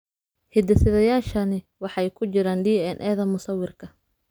Hidde-sidayaashani waxay ku jiraan DNA-da musawirka.